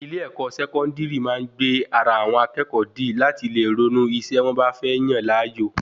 ilé-ẹ̀kọ́ Sẹkọndiri máa gbe ara àwọn akẹẹkọ di lati le ronú isé wọn ba fẹ Yan láàyò